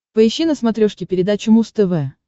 поищи на смотрешке передачу муз тв